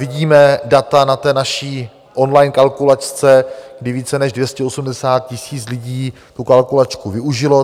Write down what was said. Vidíme data na té naší online kalkulačce, kdy více, než 280 000 lidí tu kalkulačku využilo.